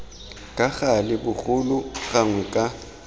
ka gale bogolo gangwe ka